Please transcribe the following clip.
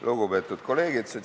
Lugupeetud kolleegid!